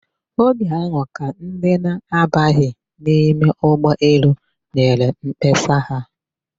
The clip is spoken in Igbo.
Oge ahụ ka ndị na-abaghị n'ime ụgbọelu nyere mkpesa ha.